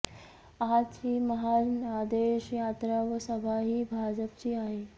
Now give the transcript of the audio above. आजची महाजनादेश यात्रा व सभा ही भाजपची आहे